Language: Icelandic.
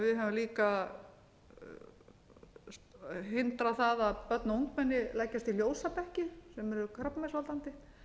höfum líka hindrað það að börn og ungmenni leggist á ljósabekki sem eru krabbameinsvaldandi